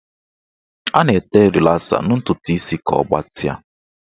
A na-ete rịlasa na ntụtụ isi ka ọ gbatịa.